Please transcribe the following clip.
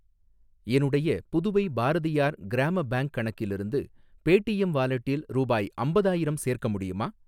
என்னுடைய புதுவை பாரதியார் கிராம பேங்க் கணக்கிலிருந்து பேடீஎம் வாலெட்டில் ரூபாய் அம்பதாயிரம் சேர்க்க முடியுமா?